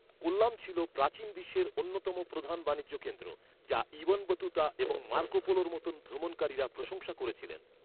কোল্লাম ছিল প্রাচীন বিশ্বের অন্যতম প্রধান বাণিজ্য কেন্দ্র, যা ইবন বতুতা এবং মার্কো পোলোর মতো ভ্রমণকারীরা প্রশংসা করেছিলেন।